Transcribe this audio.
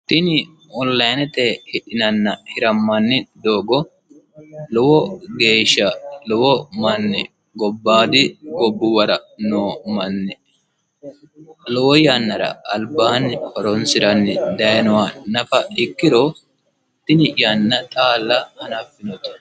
Tini onilinete hidhinannina hiramanni doogo lowo geesha lowo manni gobaadi gobbuwara noo manni lowo yannara alibaaa horonisiranni dayinoha nafa ikkiro tini yanna xaala hanafinnote.